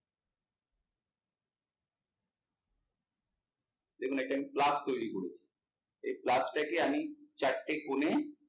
যেকোনো একটা আমি plus তৈরী করবো, এই plus টাকে আমি চারটে কোনে